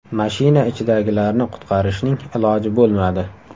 Mashina ichidagilarni qutqarishning iloji bo‘lmadi.